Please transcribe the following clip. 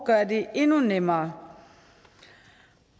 gøre det endnu nemmere